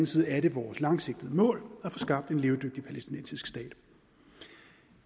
side er det vores langsigtede mål at få skabt en levedygtig palæstinensisk stat